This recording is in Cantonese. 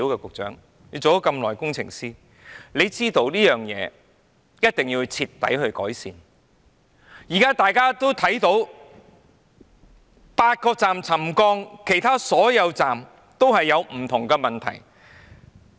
局長，你也當了工程師很久，你知道一定要徹底改善車站出現的問題，現在8個車站出現沉降，其他車站也出現不同問題。